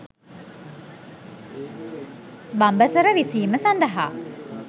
බඹසර විසීම සඳහා